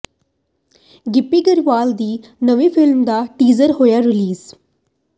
ਗਿੱਪੀ ਗਰੇਵਾਲ ਦੀ ਨਵੀਂ ਫ਼ਿਲਮ ਦਾ ਟੀਜ਼ਰ ਹੋਇਆ ਰਿਲੀਜ਼